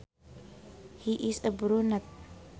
He is a brunet